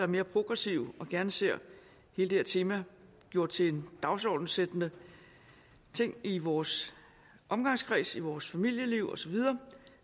mere progressive og som gerne ser hele det her tema gjort til en dagsordenssættende ting i vores omgangskreds og i vores familieliv og så videre